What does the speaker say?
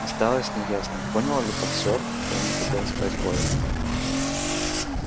осталось неясным понял ли боксёр что ему хотела сказать кловер